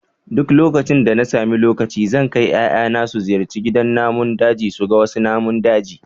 Duk lokacin da na sami lokaci zan kai 'ya'yana su ziyarci gidan namun daji su ga wasu namun daji